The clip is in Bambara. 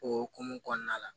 O hokumu kɔnɔna la